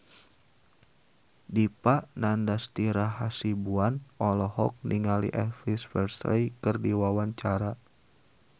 Dipa Nandastyra Hasibuan olohok ningali Elvis Presley keur diwawancara